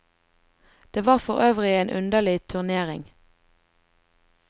Det var forøvrig en underlig turnering.